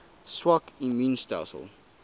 swak immuun stelsels